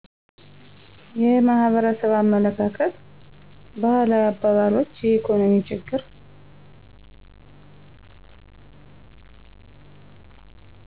የማህበረሰብ አመለካከት ባህላዊ አባባሎች የኢኮኖሚ ችግር